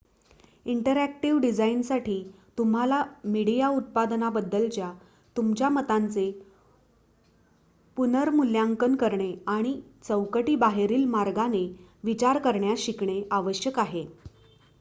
interactive डिझाईनसाठी तुम्हाला media उत्पादनाबद्दलच्या तुमच्या मतांचे पुनर्मूल्यांकन करणे आणि चौकटी बाहेरील मार्गाने विचार करण्यास शिकणे आवश्यक आहे